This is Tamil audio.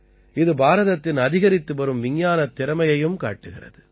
இது பாரதத்தின் அதிகரித்து வரும் விஞ்ஞானத் திறமையையும் காட்டுகிறது